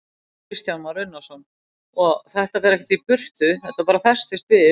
Kristján Már Unnarsson: Og þetta fer ekkert í burtu, þetta bara festist við?